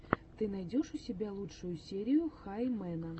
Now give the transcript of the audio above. ты найдешь у себя лучшую серию хай мэна